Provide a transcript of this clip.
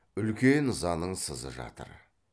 үлкен ызаның сызы жатыр